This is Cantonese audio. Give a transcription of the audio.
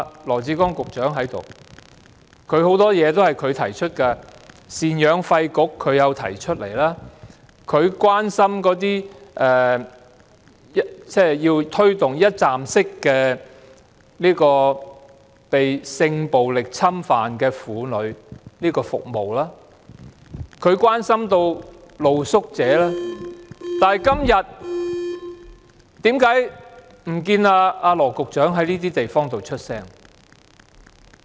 羅致光局長在席，有很多項目也是他提出的，贍養費管理局是他提出的，他要推動被性暴力侵犯的婦女的一站式服務；他關心露宿者，但為何今天不見羅局長在這些地方發聲？